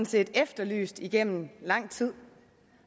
set efterlyst igennem lang tid